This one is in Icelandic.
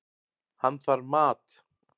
Hann þarf mat.